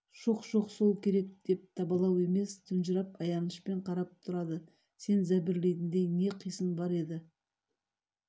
шоқ-шоқ сол керек деген табалау емес тұнжырап аянышпен қарап тұрады сен зәбірлейтіндей не қисын бар еді